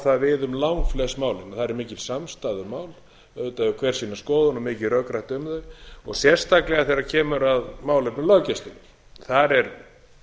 það við um langflest málin þar er mikil samstaða um málin auðvitað hefur hver sína skoðun og mikið rökrætt um þau sérstaklega þegar kemur að málefnum löggæsluna þar er